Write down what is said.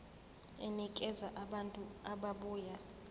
enikeza abantu ababuya